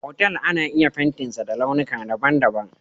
Otal ana iya fentinsa da launuka daban-daban.